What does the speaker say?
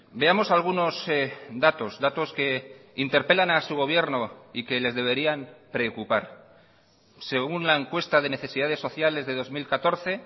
veamos algunos datos datos que interpelan a su gobierno y que les deberían preocupar según la encuesta de necesidades sociales de dos mil catorce